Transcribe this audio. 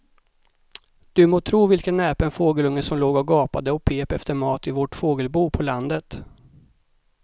Du må tro vilken näpen fågelunge som låg och gapade och pep efter mat i vårt fågelbo på landet.